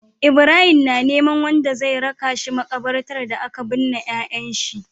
Ibrahim na neman wanda zai raka shi makabartar da aka bunne yayan shi